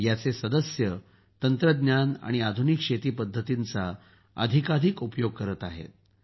याचे सदस्य तंत्रज्ञान आणि आधुनिक शेती पद्धतींचा अधिकाधिक उपयोग करत आहेत